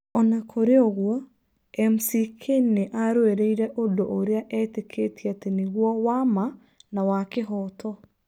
O na kũrĩ ũguo, McCain nĩ aarũĩrĩire ũndũ ũrĩa eetĩkĩtie atĩ nĩguo wa ma na wa kĩhooto.